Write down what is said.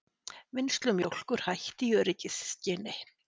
Vinnslu mjólkur hætt í öryggisskyni